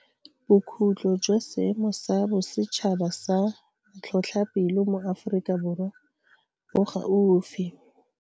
Bokhutlo jwa Seemo sa Bosetšhaba sa Matlhotlhapelo mo Aforika Borwa bo gaufi.